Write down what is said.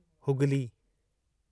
Hooghly